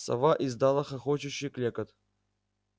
сова издала хохочущий клёкот